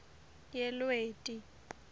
yelweti